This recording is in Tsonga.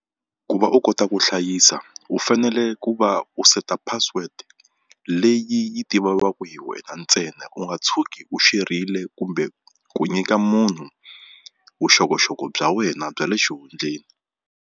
Ku va u kota ku hlayisa u fanele ku va u seta password leyi yi tiviwaku hi wena ntsena u nga tshuki u share-rile kumbe ku nyika munhu vuxokoxoko bya wena bya le xihundleni.